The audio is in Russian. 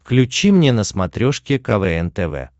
включи мне на смотрешке квн тв